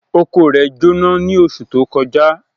Oko rẹ̀ Jóná ní oṣù tó kọjá